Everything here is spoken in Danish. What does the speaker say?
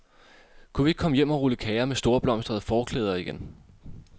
Kunne vi ikke komme hjem og rulle kager med storblomstrede forklæder igen.